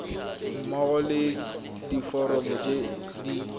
mmogo le diforomo tse di